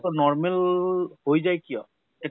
ৰ normal হৈ যায় কিয় ? তে